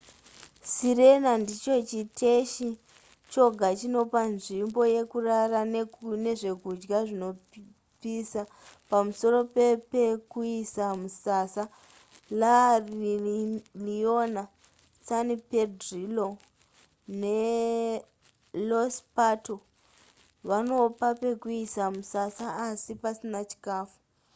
sirena ndicho chiteshi choga chinopa nzvimbo yekurara nezvekudya zvinopisa pamusoro pepekuisa musasa la leona san pedrillo ne los pato vanopa pekuisa musasa asi pasina chikafu